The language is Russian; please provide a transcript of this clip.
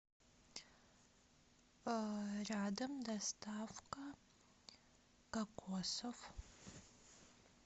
рядом доставка кокосов